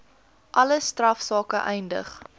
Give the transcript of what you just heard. alle strafsake eindig